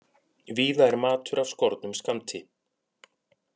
Víða er matur af skornum skammti